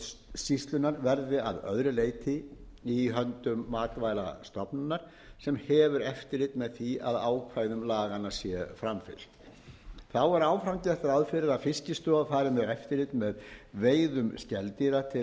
stjórnsýslunnar verði að öðru leyti í höndum matvælastofnunar sem hefur eftirlit með því að ákvæðum laganna sé framfylgt þá er áfram gert ráð fyrir að fiskistofa fari með eftirlit með veiðum skeldýra til